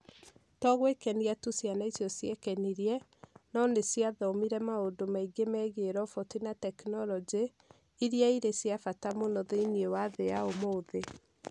To gwĩkenia tu ciana icio ciekenirie, no nĩ cia thomire maũndũ maingĩ megiĩ roboti na tekinoronjĩ, iria irĩ cia bata mũno thĩinĩ wa thĩ ya ũmũthĩ.